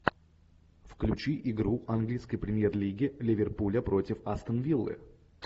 включи игру английской премьер лиги ливерпуля против астон виллы